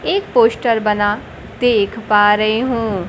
एक पोस्टर बना देख पा रहे हूँ।